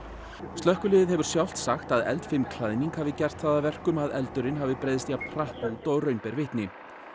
slökkviliðið hefur sjálft sagt að eldfim klæðning hafi gert það að verkum að eldurinn hafi breiðst jafn hratt út og raun ber vitni